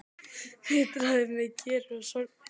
Vitiði hvað gerir mig sorgmæddan?